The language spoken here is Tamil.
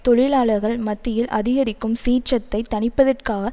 தொழிலாளர்கள் மத்தியில் அதிகரிக்கும் சீற்றத்தை தணிப்பதற்காக